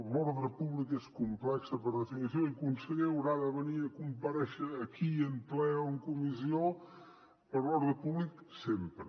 l’ordre públic és complex per definició i conseller haurà de venir a comparèixer aquí en ple o en comissió per l’ordre públic sempre